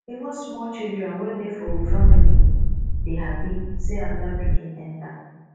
even small children wey dey for we family dey hapi sey anoda pikin enta